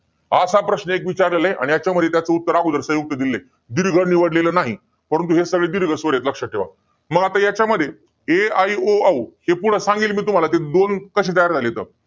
असा प्रश्न आगोदर विचारलेला आहे. आणि त्याचं उत्तर संयुक्त दिलेलं आहे. दीर्घ निवडलेलं नाही. परंतु हे सगळे दीर्घ स्वर आहेत लक्षात ठेवा. मग आता याच्यामध्ये ऐ एै ओ औ हे पुढं सांगेल मी तुम्हाला, दोन कसे तयार झाले,